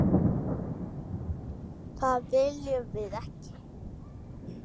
Það viljum við ekki!